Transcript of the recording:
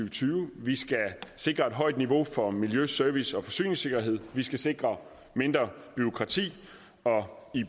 og tyve vi skal sikre et højt niveau for miljø service og forsyningssikkerhed vi skal sikre mindre bureaukrati